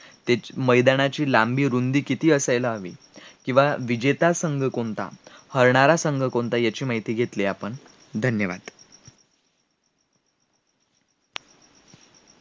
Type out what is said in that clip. त्याच्या मैदानाची लांबी, रुंदी किती असायला हवी किंवा विजेता संघ कोणता हरणारा संघ कोणता याची माहिती घेतली आपण, धन्यवाद